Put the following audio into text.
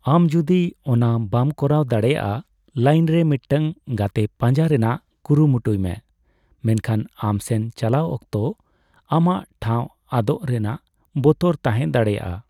ᱟᱢ ᱡᱩᱫᱤ ᱚᱱᱟ ᱵᱟᱢ ᱠᱚᱨᱟᱣ ᱫᱟᱲᱮᱭᱟᱜᱼᱟ, ᱞᱟᱹᱭᱤᱱᱨᱮ ᱢᱤᱫᱴᱟᱝ ᱜᱟᱛᱮ ᱯᱟᱸᱡᱟ ᱨᱮᱱᱟᱜ ᱠᱩᱨᱩᱢᱩᱴᱩᱭᱢᱮ, ᱢᱮᱱᱠᱷᱟᱱ ᱟᱢ ᱥᱮᱱ ᱪᱟᱞᱟᱣ ᱚᱠᱛᱚ ᱟᱢᱟᱜ ᱴᱷᱟᱣ ᱟᱫᱚᱜ ᱨᱮᱱᱟᱜ ᱵᱚᱛᱚᱨ ᱛᱟᱦᱮᱸ ᱫᱟᱲᱮᱭᱟᱜᱼᱟ ᱾